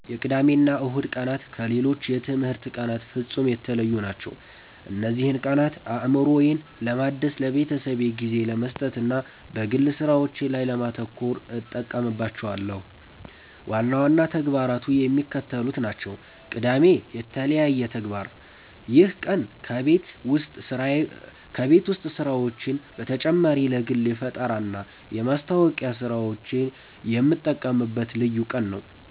የቅዳሜና እሁድ ቀናት ከሌሎች የትምህርት ቀናት ፍጹም የተለዩ ናቸው። እነዚህን ቀናት አእምሮዬን ለማደስ፣ ለቤተሰቤ ጊዜ ለመስጠትና በግል ሥራዎቼ ላይ ለማተኮር እጠቀምባቸዋለሁ። ዋና ዋና ተግባራቱ የሚከተሉት ናቸው፦ ቅዳሜ (የተለየ ተግባር)፦ ይህ ቀን ከቤት ውስጥ ሥራዎች በተጨማሪ ለግል የፈጠራና የማስታወቂያ ሥራዎቼ የምጠቀምበት ልዩ ቀን ነው።